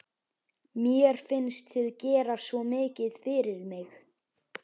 Mér finnst þið gera svo mikið fyrir mig.